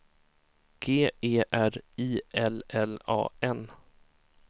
G E R I L L A N